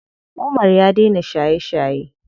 Umar ya dena shaye shaye.